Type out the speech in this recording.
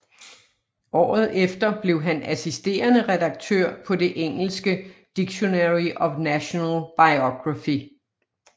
Året efter blev han assisterende redaktør på det engelske Dictionary of National Biography